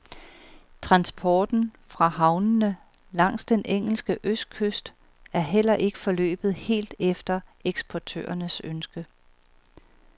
Transporten fra havnene langs den engelske østkyst er heller ikke forløbet helt efter eksportørernes ønske.